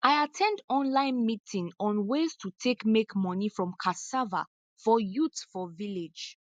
i at ten d online meeting on ways to take make money from cassava for youth for village